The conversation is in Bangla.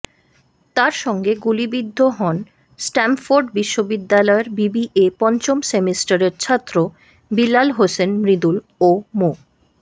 তার সঙ্গে গুলিবিদ্ধ হন স্ট্যামফোর্ড বিশ্ববিদ্যালয়ের বিবিএ পঞ্চম সেমিস্টারের ছাত্র বিল্লাল হোসেন মৃদুল ও মো